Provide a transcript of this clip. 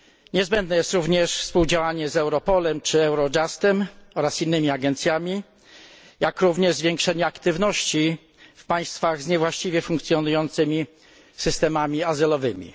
Niezbędne jest również współdziałanie z Europolem czy Eurojustem oraz innymi agencjami, jak również zwiększenie aktywności w państwach z niewłaściwie funkcjonującymi systemami azylowymi.